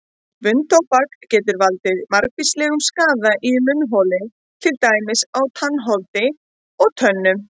Munntóbak getur valdið margvíslegum skaða í munnholi til dæmis á tannholdi og tönnum.